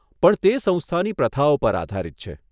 પણ તે સંસ્થાની પ્રથાઓ પર આધારિત છે.